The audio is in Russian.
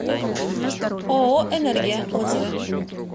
ооо энергия отзывы